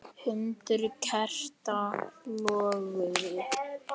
Hundruð kerta loguðu.